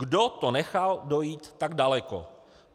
Kdo to nechal dojít tak daleko.